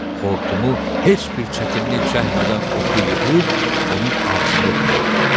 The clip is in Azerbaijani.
Xortumu heç bir çətinlik çəkmədən otu yığıb onun ağzına ötürürdü.